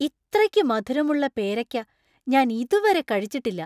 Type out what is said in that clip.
ഇത്രക്കു മധുരമുള്ള പേരയ്ക്ക ഞാൻ ഇതുവരെ കഴിച്ചിട്ടില്ല !